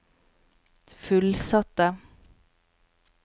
fullsatte